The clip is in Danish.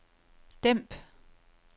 dæmp